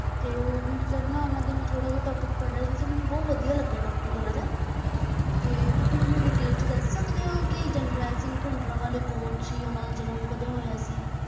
ਮੈਂ ਉਸ ਦਾ ਵਿਸ਼ਾ ਥੋੜ੍ਹਾ ਪੜ੍ਹਿਆ ਸੀ ਅਤੇ ਮੈਨੂੰ ਉਸ ਦਾ ਵਿਸ਼ਾ ਬਹੁਤ ਪਸੰਦ ਆਇਆ ਸੀ ਅਤੇ ਤੁਸੀਂ ਵਿਸਥਾਰ ਨਾਲ ਦੱਸ ਸਕਦੇ ਹੋ ਕਿ ਜਰਨੈਲ ਸਿੰਘ ਭਿੰਡਰਾਂਵਾਲੇ ਕੌਣ ਸੀ, ਉਹ ਕਦੋਂ ਪੈਦਾ ਹੋਇਆ ਸੀ?